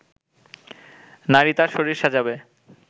নারী তার শরীর সাজাবে